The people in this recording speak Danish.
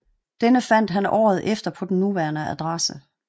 Denne fandt han året efter på den nuværende adresse